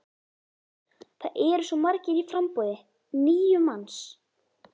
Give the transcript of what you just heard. Það eru svo margir í framboði, níu manns?